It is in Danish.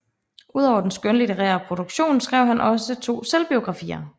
Udover den skønlitterære produktion skrev han også to selvbiografier